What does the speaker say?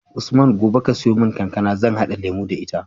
Usman gobe ka siyo mun kankAna zan hada lemo da ita